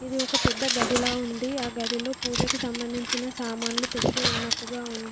ఇది ఒక పెద్ద గదిలా ఉంది. ఆ గదిలో పూజకి సంబంధించిన సామాన్లు పెట్టి ఉన్నట్టుగా ఉంది.